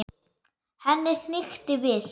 Henni hnykkti við.